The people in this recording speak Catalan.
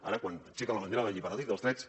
ara quan aixequen la bandera de la llibertat i dels drets